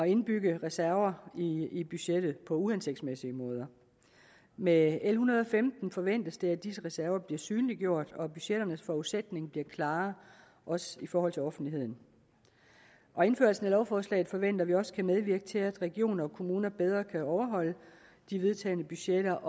indbygge reserver i budgettet på uhensigtsmæssige måder med l en hundrede og femten forventes det at disse reserver bliver synliggjort og at budgetternes forudsætning bliver klarere også i forhold til offentligheden indførelsen af lovforslaget forventer vi også kan medvirke til at regioner og kommuner bedre kan overholde de vedtagne budgetter